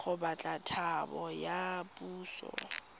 go batla thapo ya puso